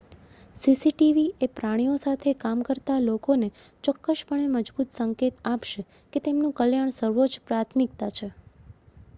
"""CCTV એ પ્રાણીઓ સાથે કામ કરતા લોકોને ચોક્કસપણે મજબૂત સંકેત આપશે કે તેમનું કલ્યાણ સર્વોચ્ચ પ્રાથમિકતા છે.""